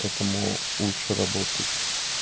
поэтому лучше работать